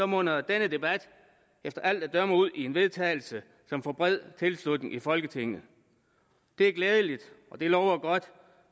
munder denne debat efter alt at dømme ud i en vedtagelse som får bred tilslutning i folketinget det er glædeligt og det lover godt